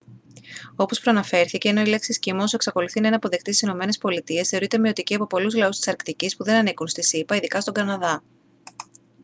όπως προαναφέρθηκε ενώ η λέξη «εσκιμώος» εξακολουθεί να είναι αποδεκτή στις ηνωμένες πολιτείες θεωρείται μειωτική από πολλούς λαούς της αρκτικής που δεν ανήκουν στις ηπα ειδικά στον καναδά